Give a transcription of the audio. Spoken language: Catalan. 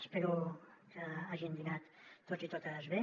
espero que hagin dinat tots i totes bé